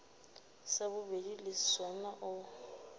sa bobedi le sona o